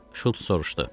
Şults soruşdu.